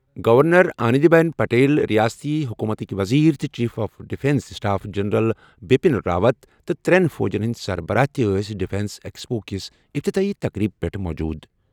Governor Anandi Ben Patel, ریاستی حکومتٕک وزیر تہٕ chief of defence staff general Bipin Rawat تہٕ ترٛٮ۪ن فوجَن ہٕنٛدۍ سربراہ تہِ ٲسۍ ڈیفنس ایکسپو کِس افتتٲحی تقریبہِ پیٚٹھ موجود۔